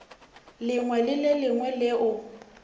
lengwe le le lengwe leo